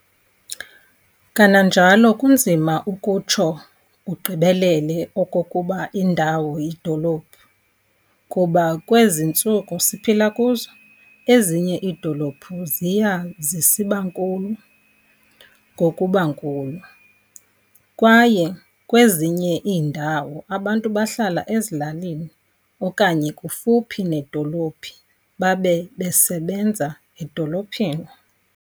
Kananjalo kunzima ukutsho ugqibelele okokuba indawo yidolophu kuba kwezi ntsuku siphila kuzo, ezinye iidolophu ziya zisibankulu ngokuba nkulu, kwaye kwezinye iindawo abantu bahlala ezilalini okanye kufuphi nedolophu babe besebenza edolophini.